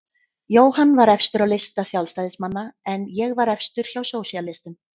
Jóhann var efstur á lista Sjálfstæðismanna en ég var efstur hjá sósíalistum.